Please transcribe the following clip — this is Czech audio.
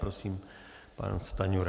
Prosím, pan Stanjura.